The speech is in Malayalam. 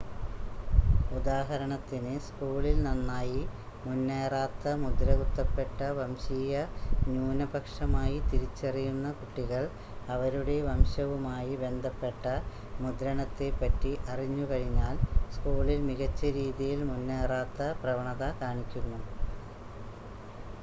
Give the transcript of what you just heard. ഉദാഹരണത്തിന് സ്കൂളിൽ നന്നായി മുന്നേറാത്ത മുദ്രകുത്തപ്പെട്ട വംശീയ ന്യൂനപക്ഷമായി തിരിച്ചറിയുന്ന കുട്ടികൾ അവരുടെ വംശവുമായി ബന്ധപ്പെട്ട മുദ്രണത്തെപ്പറ്റി അറിഞ്ഞുകഴിഞ്ഞാൽ സ്‌കൂളിൽ മികച്ച രീതിയിൽ മുന്നേറാത്ത പ്രവണത കാണിക്കുന്നു